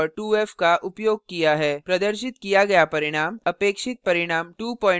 प्रदर्शित किया गया परिणाम अपेक्षित परिणाम 250 के बजाय 200 होगा